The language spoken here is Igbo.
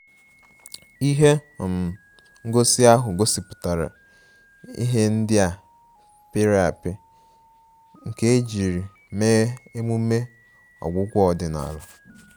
Ihe um ngosi ahụ gosipụtara ihe ndị a pịrị apị nke ejiri mee emume ọgwụgwọ ọdịnala